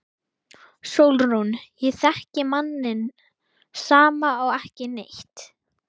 SÓLRÚN: Ég þekki manninn sama og ekki neitt.